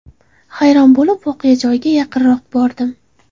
Hayron bo‘lib, voqea joyiga yaqinroq bordim.